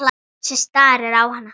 Bjössi starir á hana.